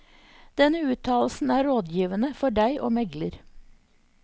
Denne uttalelsen er rådgivende for deg og megler.